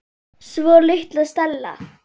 Svo litla Stella.